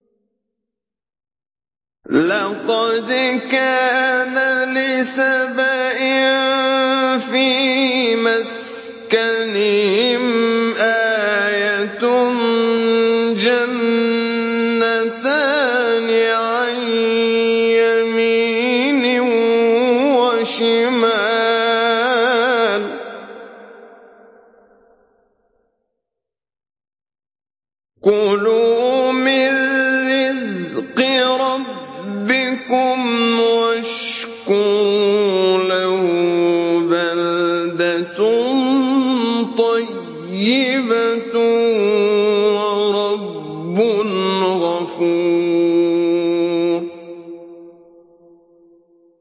لَقَدْ كَانَ لِسَبَإٍ فِي مَسْكَنِهِمْ آيَةٌ ۖ جَنَّتَانِ عَن يَمِينٍ وَشِمَالٍ ۖ كُلُوا مِن رِّزْقِ رَبِّكُمْ وَاشْكُرُوا لَهُ ۚ بَلْدَةٌ طَيِّبَةٌ وَرَبٌّ غَفُورٌ